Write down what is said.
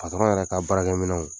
Patɔrɔn yɛrɛ ka baarakɛminɛw